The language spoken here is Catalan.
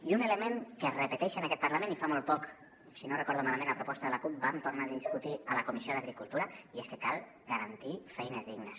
i un element que es repeteix en aquest parlament i que fa molt poc si no recordo malament a proposta de la cup vam tornar a discutir a la comissió d’agricultura cal garantir feines dignes